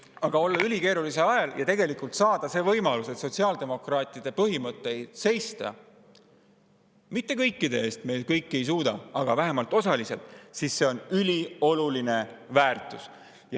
Aga kui olla ülikeerulisel ajal ja saada see võimalus sotsiaaldemokraatide põhimõtete eest seista, mitte kõikide eest, sest me ei suuda, aga seisame vähemalt osaliseltki, siis see on ülioluline väärtus.